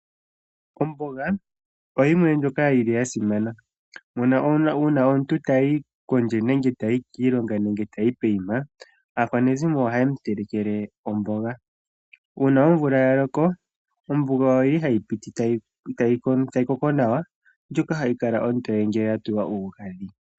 Omboga oyimwe ndjoka yili yasimana uuna omuntu tayi kondje nenge tayi kiilonga nenge poima aakwanezimo ohaye mutelekele omboga. Uuna omvula yaloko omboga oyili hayi piti tayi koko nawa ndjoka hayi kala ontoye ngele yatulwa omagadhi.